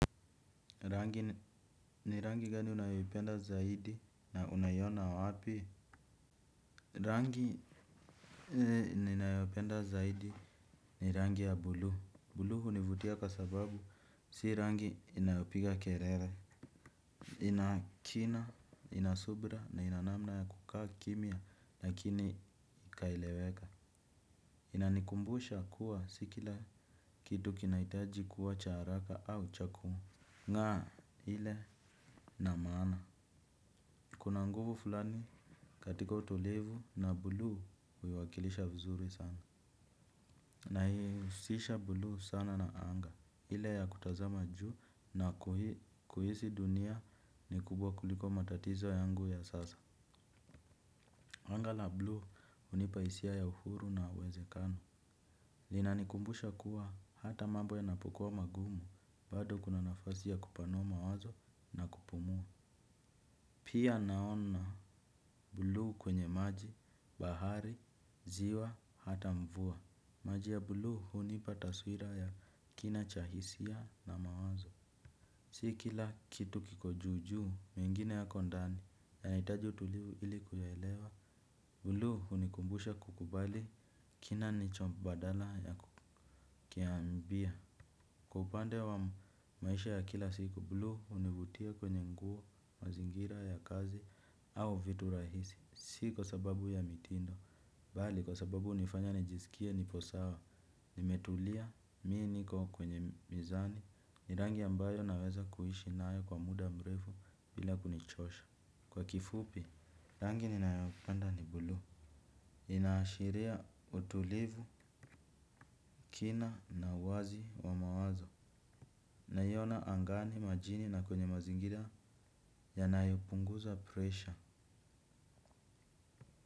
Rangi ni rangi gani unayoipenda zaidi na unaiona wapi? Rangi ninayopenda zaidi ni rangi ya bluu. Bluu hunivutia kwa sababu, si rangi inayopiga kelele. Ina kina, ina subira na ina namna ya kukaa kimya, lakini ikaeleweka. Inanikumbusha kuwa si kila kitu kinahitaji kuwa cha haraka au cha kumu. Ngaa ile na maana. Kuna nguvu fulani katika utolevu na bluu huiwakilisha vizuri sana. Naihusisha bluu sana na anga. Ile ya kutazama juu na kuhisi dunia ni kubwa kuliko matatizo yangu ya sasa. Anga la bluu hunipa hisia ya uhuru na uwezekano. Linanikumbusha kuwa hata mambo yanapokua magumu. Bado kuna nafasi ya kupanua mawazo na kupumua. Pia naona bluu kwenye maji, bahari, ziwa, hata mvua. Maji ya bluu hunipa taswira ya kina cha hisia na mawazo. Si kila kitu kiko juu juu mengine yako ndani yanahitaji utulivu ili kuyaelewa. Bluu hunikumbusha kukubali kina nicho badala ya kukiambia. Kwa upande wa maisha ya kila siku bluu hunivutia kwenye nguo mazingira ya kazi au vitu rahisi. Si kwa sababu ya mitindo bali kwa sababu hunifanya nijisikie nipo sawa. Nimetulia, mimi niko kwenye mizani. Ni rangi ambayo naweza kuishi nayo kwa muda mrefu bila kunichosha. Kwa kifupi, rangi ninayopenda ni bluu. Inaashiria utulivu, kina na uwazi wa mawazo. Naiona angani majini na kwenye mazingira yanayopunguza pressure.